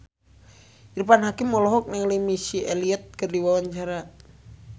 Irfan Hakim olohok ningali Missy Elliott keur diwawancara